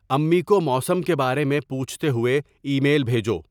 امی کو موسم کے بارے میں پوچھتے ہوئے ای میل بھیجو